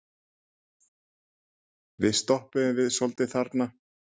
Svo stoppuðum við soldið þarna.